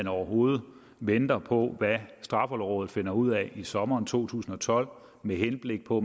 overhovedet venter på hvad straffelovrådet finde ud af i sommeren to tusind og tolv med henblik på